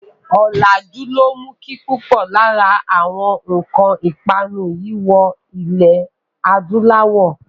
Ọ̀làjú ló mú kí púpò lára àwọn nǹkan ìpanu yìí wọ ilẹ̀ adúláwọ̀.